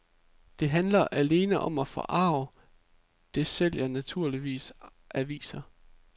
Det handler alene om at forarge, det sælger nemlig aviser.